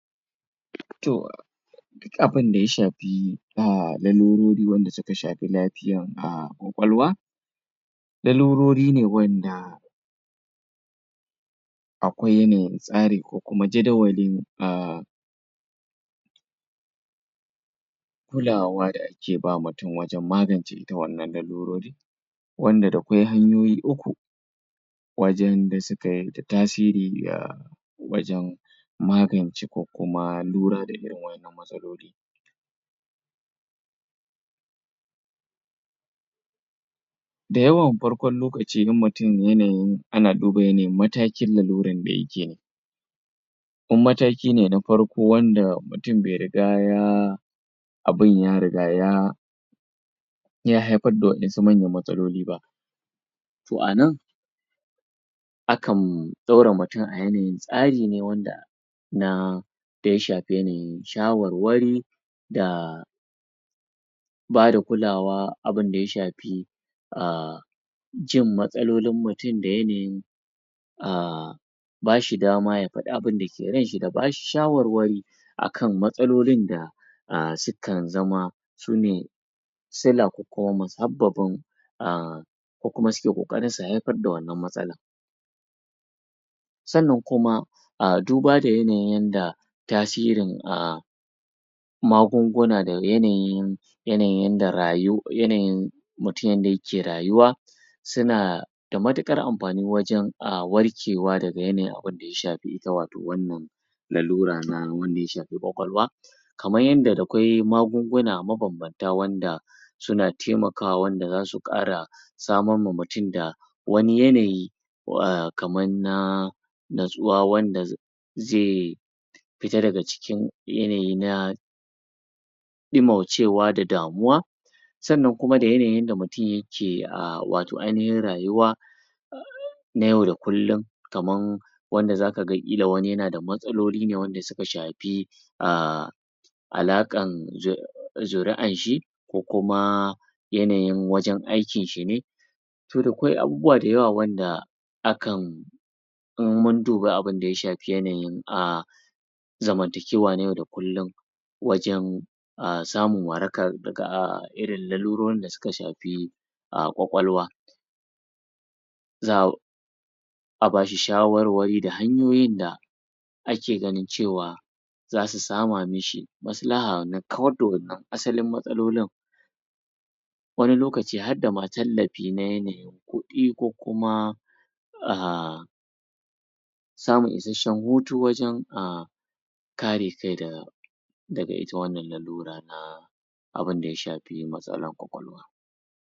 to duk abin da ya shafi aaa lolurori wanda suka shafi lafiyan aaa kwalwa lalurori ne wanda akwai yanayin tsari ko kuma jaddawalin aaaa kulawa da ake bawa mutum wajan magance wannan larurori wanda da kwai hanyoyi uku wajan da sukayi da tasiri wajan magance ko kuma luror da irin wannan matsaloli da yawan farkon lokaci in mutum yana yin, ana duba yana yin matakin lalurr da yayi kenan in mataki ne na farko wanda mutum bai riga yaaa abun ya riga ya ya haifar da manyan matsaloli ba to anan akan dora mutum akan yanayin tsari ne wanda naa da ya shafi yana yin shawarwari daaa bada kulawa abin da ya shafi aaaa jin matsalolin mutum da yanayin aaaaa a bashi dama ya fadi abinda ke ran shi da bashi shawarwari a kan matsalolin da aaa sukan zama su ne sila ko kuma musababin aaaa ko kuma suke kokarin su haifar da wannan matsala sannann kuma a duba da yanayin da tasirin a magunguna da yananin yana yin yanda rayu, yanayin mutum yanda yake rayuwa suna da matukar amfani aaa wajan warkewa daga yana yin abin da ya shafi ita wato wannan lalura na wanda ya shafi kwawalwa kamar yadda da kwai magun-guna ma ban-ban suna temakawa wanda za su kara samamma mutum da wani yanayi aa kaman naaaa na tsuwa zaii fita daga cikin yanayi na dimaucewa da damuwa sannan kuma da yana yin yadda mutum yake aaaa wato aynihin rayuwa na yau da kullun kamar wanda za kaga kila wani yana da matsaloli ne wanda suka shafi aaa alakan zuri'ar shi ko kuma yana yin wajan aykin shi ne to akwai abubuwa da yawa wanda akan in mun duba abin da ya shafi yana yin aaaa zaman takewa na yau da kullum wajan aaa samun warakar aaa irin lalurorin da suka shafi aaa, kwa-kwalwa zaaa a bashi shawarwari da hanyoyin da ake ganuin cewa za su sama mishi maslaha na kawar da wannan asalin matsalolin wani lokaci ma harda ma tallafi na yanayi kudi ko kuma aaaa samun isasshen hutu wajan aaaa kare kai da daga ita wannan lalura na abin da ya shafi matsalar kwa-kwalwa